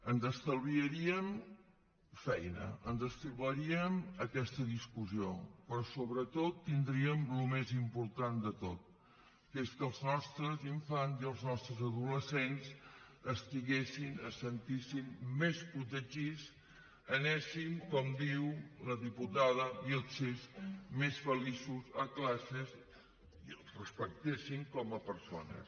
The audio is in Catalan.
ens estalviaríem feina ens estalviaríem aquesta discussió però sobretot tindríem el més important de tot que és que els nostres infants i els nostres adolescents estiguessin es sentissin més protegits anessin com diu la diputada vílchez més feliços a classes i els respectessin com a persones